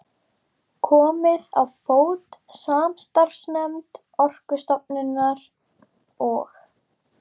Komið á fót samstarfsnefnd Orkustofnunar og